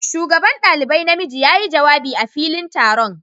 shugaban dalibai na miji ya yi jawabi a filin taron.